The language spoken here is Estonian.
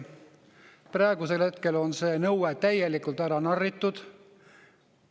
Praegusel hetkel on see nõue täielikult ära narritud.